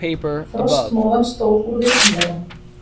Frostmóðan stóð úr vitum þeirra.